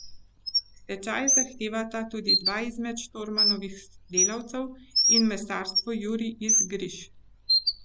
Stečaj zahtevata tudi dva izmed Štormanovih delavcev in Mesarstvo Jurij iz Griž.